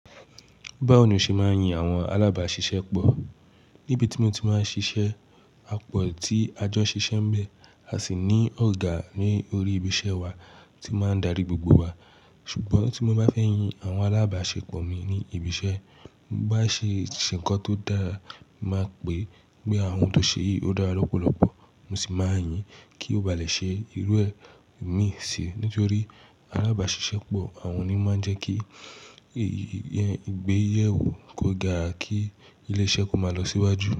Báwo ni o ṣe máa ń yin àwọn alábàáṣiṣẹ́pọ̀? Nibi tí mo ti máa ń ṣiṣẹ́, a pọ̀ tí a jọ ń ṣiṣẹ́ ńbẹ̀, a sì ní ọ̀gá ní orí ibi iṣẹ́ wa tí ó máa ń darí gbogbo wa. Ṣùgbọ́n tí mo bá fẹ́ yin àwọn alábàáṣepọ̀ mi ní ibi iṣẹ́, bí wọ́n bá ṣe ṣe nǹkan tó dáa, n màá pèé pé ohun tóo ṣe yìí ó dára lọ́pọ̀lọpọ̀, mo sì máa yìn-ín kí ó ba lè ṣe irú ẹ̀ míì síi. Nítorí alábàáṣiṣẹ́pọ̀, àwọn ni ó máa ń jẹ́ kí ìgbéyẹ̀wò kó dáa kí ilé iṣẹ́ kó máa lọ síwájú.